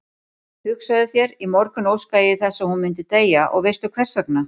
Hugsaðu þér, í morgun óskaði ég þess að hún myndi deyja og veistu hversvegna?